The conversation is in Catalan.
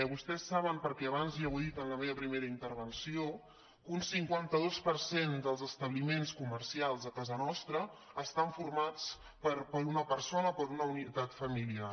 vostès saben perquè abans ja ho dit en la meva primera intervenció que un cinquanta dos per cent dels establiments comercials a casa nostra estan formats per una persona o per una unitat familiar